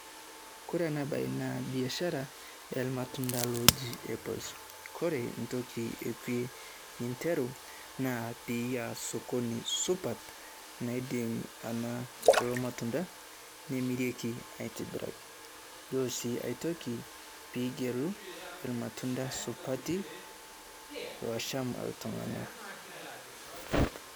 Kore ena e baye na biasharaa e matundaa loji apples . Kore ntoki ekwei ninteruu naa piiya sokoni supaat naidim ana kuo matundaa nemiirike aitibiraki . Yoo sii ai ntoki pijeluu elmatundaa supaati loshaam iltung'anak.